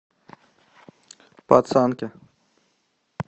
пацанки